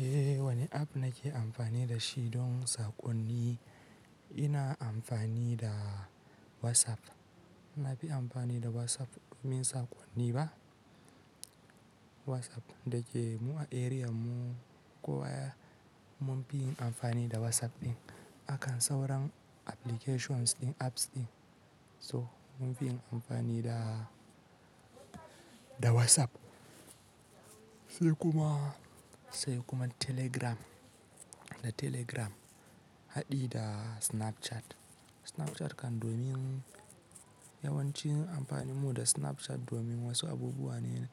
Eh, wane app nake amfani da shi don saƙonni? Ina amfani da WhatsApp. Na fi amfani da WhatsApp domin saƙonni ba. WhatsApp, da ke mu a area mu kuwa mun fi yin amfani da WhatsApp ɗin. Akan sauran applications din, apps din. So mun fi yin amfani da, da WhatsApp sai kuma, sai kuma Telegram, da Telegram haɗe da Snapchat. Snapchat kan domin yawanci amfani mu da Snapchat domin wasu abubuwa ne